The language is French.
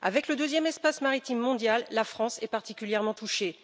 Avec le deuxième espace maritime mondial, la France est particulièrement touchée.